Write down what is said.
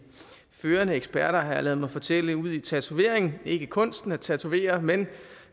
førende eksperter har jeg ladet mig fortælle udi tatovering ikke kunsten at tatovere men